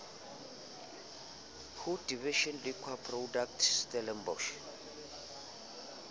ho division liquor products stellenbosch